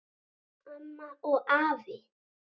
Amma og afi.